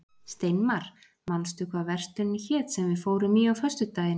Steinmar, manstu hvað verslunin hét sem við fórum í á föstudaginn?